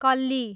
कल्ली